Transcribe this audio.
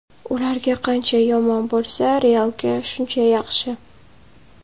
Ularga qancha yomon bo‘lsa, ‘Real’ga shuncha yaxshi.